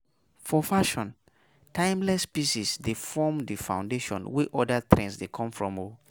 For fashion, timeless pieces dey form di foundation wey oda trends dey come from um